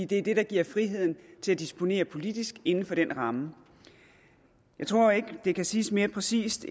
det er det der giver friheden til at disponere politisk inden for den ramme jeg tror ikke det kan siges mere præcist